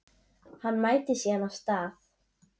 Hann mætir síðan á stað